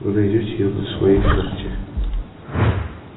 вы найдёте её на своей карте